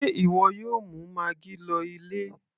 sé ìwọ yóò mú maggi lọ ilé